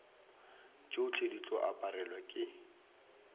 tšohle di tlo aparelwa ke